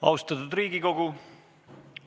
Austatud Riigikogu!